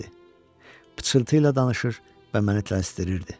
Pıçıltı ilə danışır və məni tələsdirirdi.